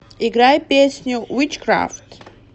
играй песню витчкрафт